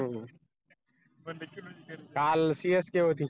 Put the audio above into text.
काल csk होती